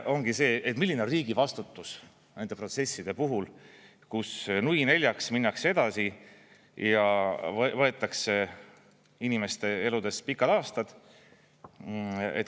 … ongi see, milline on riigi vastutus nende protsesside puhul, kus nui neljaks minnakse edasi ja võetakse inimeste eludest pikad aastad.